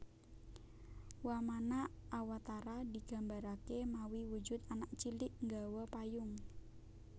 Wamana awatara digambarake mawi wujud anak cilik nggawa payung